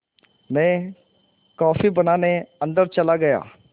मैं कॉफ़ी बनाने अन्दर चला गया